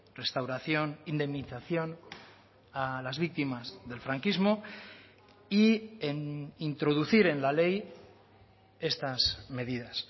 restauración indemnización a las víctimas del franquismo y en introducir en la ley estas medidas